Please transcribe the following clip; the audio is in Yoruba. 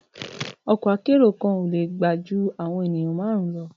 Ọkọ akẹ́ro kan le gbe ju awọn enìyan marun lọ